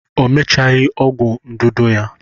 O mechaghị ọgwụ ndụdụ ya